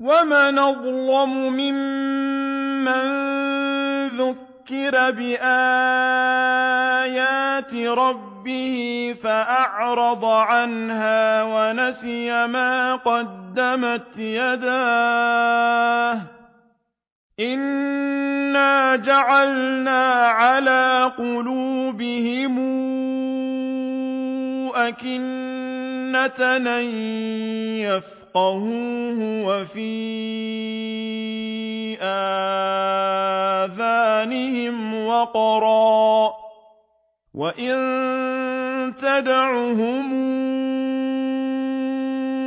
وَمَنْ أَظْلَمُ مِمَّن ذُكِّرَ بِآيَاتِ رَبِّهِ فَأَعْرَضَ عَنْهَا وَنَسِيَ مَا قَدَّمَتْ يَدَاهُ ۚ إِنَّا جَعَلْنَا عَلَىٰ قُلُوبِهِمْ أَكِنَّةً أَن يَفْقَهُوهُ وَفِي آذَانِهِمْ وَقْرًا ۖ وَإِن تَدْعُهُمْ